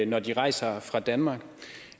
når de rejser fra danmark